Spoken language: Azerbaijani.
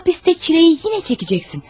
Həbsdə çiləni yenə çəkəcəksən.